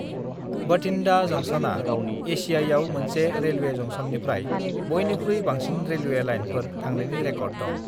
बठिन्डा जंक्शना एसियायाव मोनसे रेलवे जंक्शननिफ्राय बयनिख्रुइ बांसिन रेलवे लाइनफोर थांनायनि रेकर्ड दं।